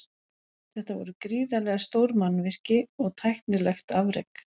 Þetta voru gríðarlega stór mannvirki og tæknilegt afrek.